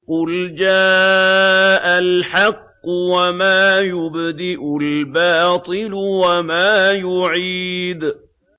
قُلْ جَاءَ الْحَقُّ وَمَا يُبْدِئُ الْبَاطِلُ وَمَا يُعِيدُ